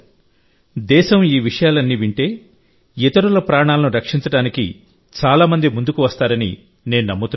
దేశం ఈ విషయాలన్నీ వింటే ఇతరుల ప్రాణాలను రక్షించడానికి చాలా మంది ముందుకు వస్తారని నేను నమ్ముతున్నాను